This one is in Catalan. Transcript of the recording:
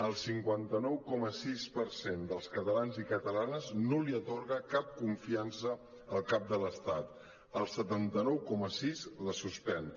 el cinquanta nou coma sis per cent dels catalans i catalanes no li atorga cap confiança al cap de l’estat el setanta nou coma sis la suspèn